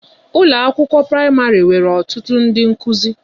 Ụlọ akwụkwọ praịmarị nwere ọtụtụ ndị nkuzi